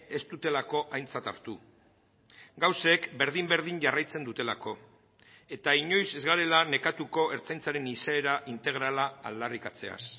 ez dutelako aintzat hartu gauzek berdin berdin jarraitzen dutelako eta inoiz ez garela nekatuko ertzaintzaren izaera integrala aldarrikatzeaz